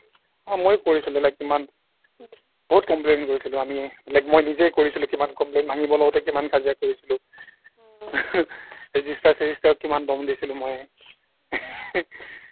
অ' মইও কৰিছিলো like ইমান বহুত complaint কৰিছিলোঁ আমি like মই নিজেই কৰিছিলোঁ কিমান complaint ভাঙিব লওঁতে কিমান কাজিয়া কৰিছিলোঁ register চেজিষ্টাৰক কিমান দম দিছিলো মই